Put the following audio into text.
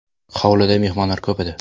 Hovlida mehmonlar ko‘p edi.